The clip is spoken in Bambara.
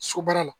Sobaara la